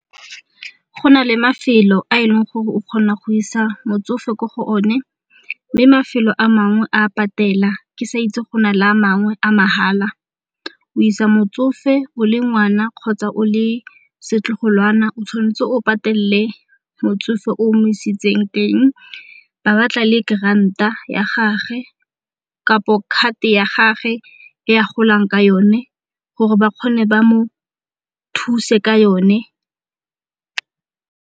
Go na le mafelo a e leng gore o kgona go isa motsofe ko go o ne mme mafelo a mangwe a patela ke sa itse go na le a mangwe a mahala. O isa motsofe o le ngwana kgotsa o le setlogolwana o tshwan'tse o patelele motsofe o mo isitseng teng, ba batla le grant-a ya gage kapo card ya gage e a golang ka yone gore ba kgone ba mo thuse ka yone.